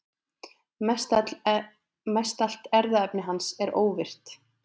Mestallt erfðaefni hans er óvirkt.